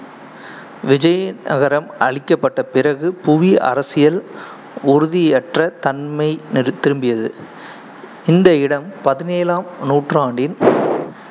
விஜயநகரம் அழிக்கப்பட்ட பிறகு, புவி அரசியல் உறுதியற்ற தன்மை திரும்பியது. இந்த இடம் பதினேழாம் நூற்றாண்டில்